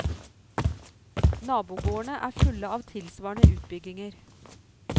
Nabogårdene er fulle av tilsvarende utbygginger.